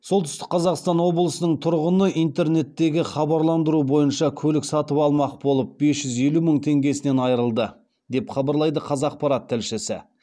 солтүстік қазақстан облысының тұрғыны интернеттегі хабарландыру бойынша көлік сатып алмақ болып бес жүз елу мың теңгесінен айырылды деп хабарлайды қазақпарат тілшісі